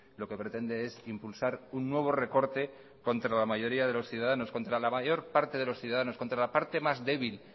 lo que pretende es impulsar un nuevo recorte contra la mayoría de los ciudadanos contra la mayor parte de los ciudadanos contra la parte más débil